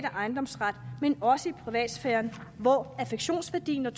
ejendomsret men også i privatsfæren hvor affektionsværdien og